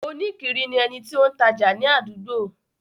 Oníkiri ni ẹni tí ó ń tajà ni àdúgbò.